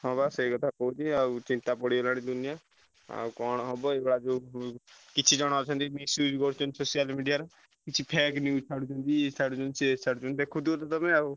ହଁ ବା ସେଇକଥା କହୁଛି ଚିନ୍ତା ପଡ଼ିଗଲାଣି ଦୁନିଆ ଆଉ କଣ ହବ ଏଇଗୁଡା ସବୁ କିଛି ଜଣ ଅଛନ୍ତି social media ରେ କିଛି fake news ଛାଡୁଛନ୍ତି